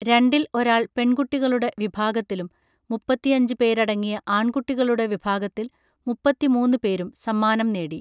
രണ്ടിൽ ഒരാൾ പെൺകുട്ടികളുടെ വിഭാഗത്തിലും മുപ്പത്തിയഞ്ച് പേരടങ്ങിയ ആൺകുട്ടികളുടെ വിഭാഗത്തിൽ മുപ്പത്തിമൂന്ന് പേരും സമ്മാനം നേടി